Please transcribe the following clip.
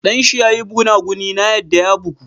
Dan shi ya yi gunaguni na yadda ya bugu.